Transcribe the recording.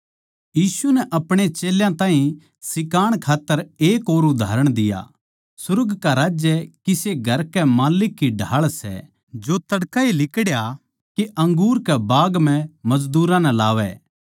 यीशु नै अपणे चेल्यां ताहीं सिखाण खात्तर एक और उदाहरण दिया सुर्ग का राज्य किसे घर के माल्लिक की ढाळ सै जो तड़कए लिकड़या के अपणे अंगूर के बाग म्ह मजदूरां नै लावै